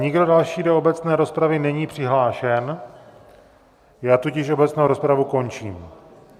Nikdo další do obecné rozpravy není přihlášen, já tudíž obecnou rozpravu končím.